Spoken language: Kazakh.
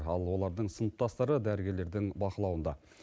ал олардың сыныптастары дәрігерлердің бақылауында